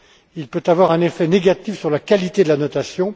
Il peut avoir un effet négatif sur la qualité de la notation.